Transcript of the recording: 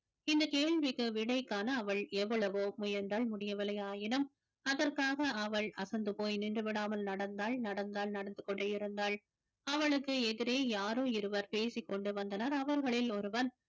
இந்த கேள்விக்கு விடை காண அவள் எவ்வளவோ முயன்றாள் முடியவில்லையாயினும் அதற்காக அவள் அசந்து போய் நின்றுவிடாமல் நடந்தாள் நடந்தாள் நடந்து கொண்டே இருந்தாள் அவளுக்கு எதிரே யாரோ இருவர் பேசிக்கொண்டு வந்தனர் அவர்களில் ஒருவன்